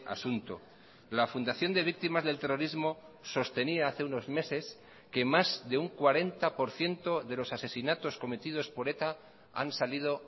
asunto la fundación de víctimas del terrorismo sostenía hace unos meses que más de un cuarenta por ciento de los asesinatos cometidos por eta han salido